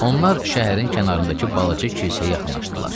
Onlar şəhərin kənarındakı balaca kilsəyə yaxınlaşdılar.